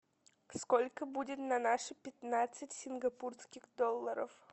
сколько будет на наши пятнадцать сингапурских долларов